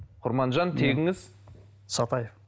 құрманжан тегіңіз сатаев